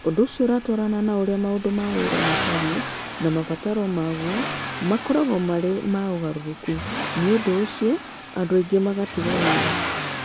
Ũndũ ũcio ũratwarana na ũrĩa maũndũ ma wĩra matariĩ na mabataro maguo makoragwo marĩ ma ũgarũrũku, nĩ ũndũ ũcio andũ aingĩ magĩtiga wĩra.